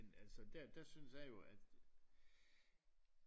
Men dér der synes jeg jo at